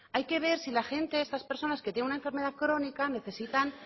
hay que ver si la gente estas personas que tienen una enfermedad crónica necesitan